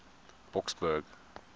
boksburg